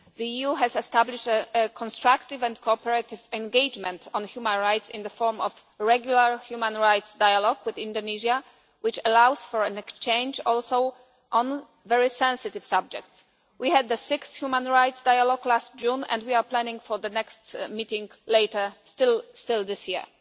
The EU has established a constructive and cooperative engagement on human rights in the form of a regular human rights dialogue with Indonesia, which allows for an exchange also on very sensitive subjects. We had the sixth Human Rights Dialogue last June and we are planning for the next meeting later in this year.